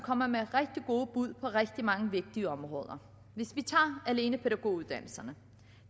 kommer med rigtig gode bud på rigtig mange vigtige områder hvis vi tager pædagoguddannelserne